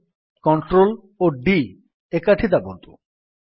ଏବେ Ctrl ଓ D ଏକାଠି ଦାବନ୍ତୁ